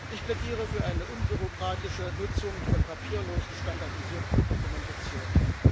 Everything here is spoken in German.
Ich plädiere für eine unbürokratische Nutzung von papierlosen, standardisierten Dokumentationen.